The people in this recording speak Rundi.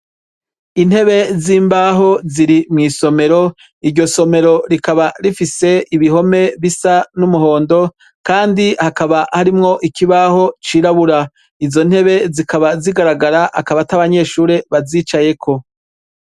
Intebe z'imbaho ziri mw'isomero, iryo somero rikaba rifise ibihome bisa n'umuhondo, kandi hakaba harimwo ikibaho cirabura, izo ntebe zikaba zigaragara akabata abanyeshure bazicayeko.